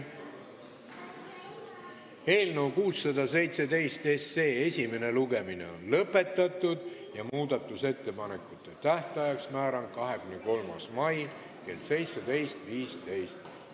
Eelnõu 617 esimene lugemine on lõpetatud ja määran muudatusettepanekute esitamise tähtajaks 23. mai kell 17.15.